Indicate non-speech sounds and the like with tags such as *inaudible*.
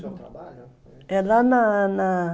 *unintelligible* trabalho, é lá na na